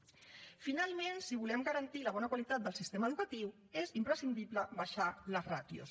finalment si volem garantir la bona qualitat del sistema educatiu és imprescindible abaixar les ràtios